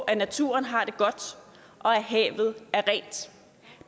at naturen har det godt og at havet er rent